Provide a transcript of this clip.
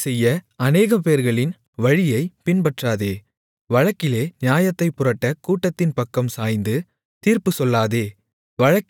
தீமைசெய்ய அநேகம்பேர்களின் வழியைப் பின்பற்றாதே வழக்கிலே நியாயத்தைப் புரட்ட கூட்டத்தின் பக்கம் சாய்ந்து தீர்ப்பு சொல்லாதே